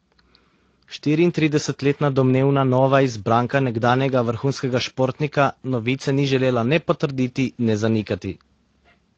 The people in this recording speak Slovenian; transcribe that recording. Štiriintridesetletna domnevna nova izbranka nekdanjega vrhunskega športnika novice ni želela ne potrditi ne zanikati.